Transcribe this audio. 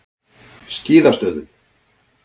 Skíðastöðum